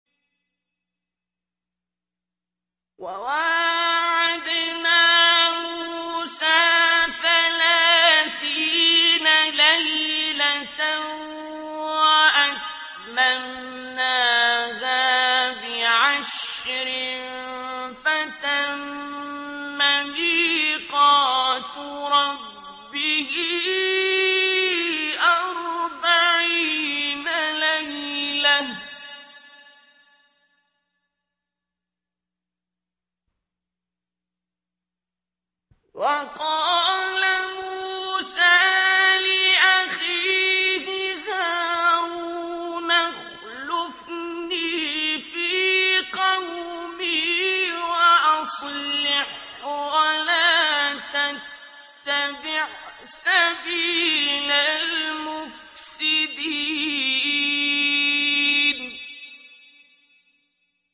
۞ وَوَاعَدْنَا مُوسَىٰ ثَلَاثِينَ لَيْلَةً وَأَتْمَمْنَاهَا بِعَشْرٍ فَتَمَّ مِيقَاتُ رَبِّهِ أَرْبَعِينَ لَيْلَةً ۚ وَقَالَ مُوسَىٰ لِأَخِيهِ هَارُونَ اخْلُفْنِي فِي قَوْمِي وَأَصْلِحْ وَلَا تَتَّبِعْ سَبِيلَ الْمُفْسِدِينَ